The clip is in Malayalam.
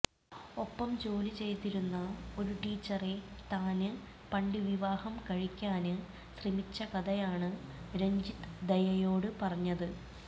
ഒപ്പം ജോലി ചെയ്തിരുന്ന ഒരു ടീച്ചറെ താന് പണ്ട് വിവാഹം കഴിക്കാന് ശ്രമിച്ച കഥയാണ് രജിത് ദയയോട് പറഞ്ഞത്